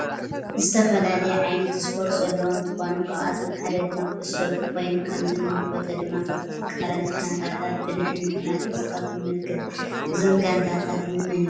ዝተፈላለዩ ዓይነታት ስፓርት ዘለዎ እንትኮኑ ካብአቶ ሓዳ ድማ ኩዕሶ እግሪ ኮይኑ ከምዚ እንምልከቶ ድማ ክልት ተቃራንቲ ጋንታታት ብንሕንሕ እናተፃወቱ ንምልክት እዞም ጋንታታት እንመን ይመስሉኩም?